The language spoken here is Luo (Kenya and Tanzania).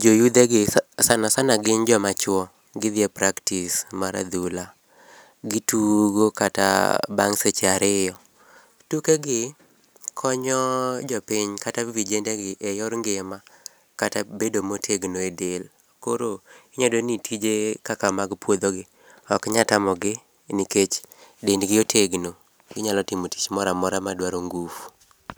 jo yudhe gi sana sana gin joma chuo gidhie practice mar adhula. Gitugo kata bang seche ariyo. Tukegi konyo jopiny kata vijende gi e yor ngima kata bedo motegno e del koro inya yudo ni tije kaka mag puodho gi ok nyal tamogi nikech dendgi otegno ginyalo timo tich moro amora madwa ngufu